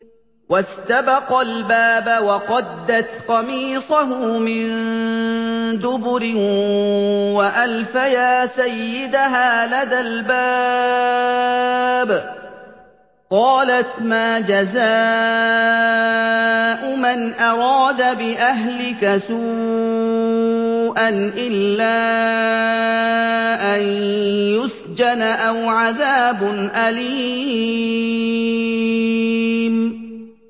وَاسْتَبَقَا الْبَابَ وَقَدَّتْ قَمِيصَهُ مِن دُبُرٍ وَأَلْفَيَا سَيِّدَهَا لَدَى الْبَابِ ۚ قَالَتْ مَا جَزَاءُ مَنْ أَرَادَ بِأَهْلِكَ سُوءًا إِلَّا أَن يُسْجَنَ أَوْ عَذَابٌ أَلِيمٌ